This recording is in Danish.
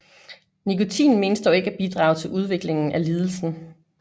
Nikotin menes dog ikke at bidrage til udviklingen af lidelsen